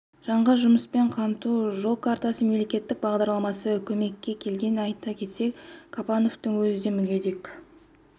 жанға жұмыспен қамту жол картасы мемлекеттік бағдарламасы көмекке келген айта кетсек қапановтың өзі де мүгедек